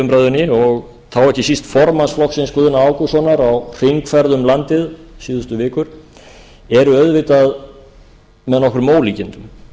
umræðunni og þá ekki síst formanns flokksins guðna ágústssonar á hringferð um landið síðustu vikur eru auðvitað með nokkrum ólíkindum